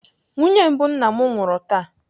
Nwunye mbụ nna m nwụrụ taa.